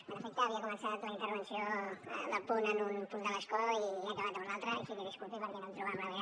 en efecte havia començat la intervenció del punt en un punt de l’escó i he acabat en un altre així que disculpi perquè no em trobava